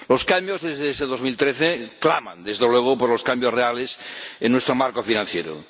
Los cambios desde ese 2013 claman, desde luego, por los cambios reales en nuestro marco financiero.